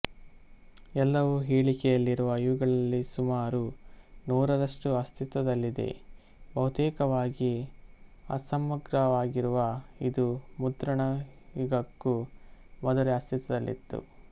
ಎಲ್ಲವೂ ಹೇಳಿಕೆಯಲ್ಲಿರುವ ಇವುಗಳಲ್ಲಿ ಸುಮಾರು ನೂರರಷ್ಟು ಅಸ್ತಿತ್ವದಲ್ಲಿದೆ ಬಹುತೇಕವಾಗಿ ಅಸಮಗ್ರವಾಗಿರುವ ಇದು ಮುದ್ರಣ ಯುಗಕ್ಕೂ ಮೊದಲೇ ಅಸ್ತಿತ್ವದಲ್ಲಿತ್ತು